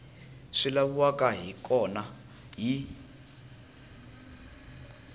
swi laviwaka hi kona hi